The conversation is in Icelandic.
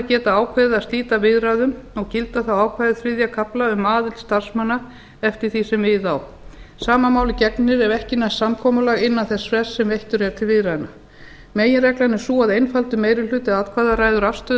geta ákveðið að slíta viðræðum og gilda þá ákvæði þriðja kafla um aðild starfsmanna eftir því sem við á sama máli gegnir ef ekki næst samkomulag innan þess frests sem veittur er til viðræðna meginreglan er sú að einfaldur meiri hluti atkvæða ræður afstöðu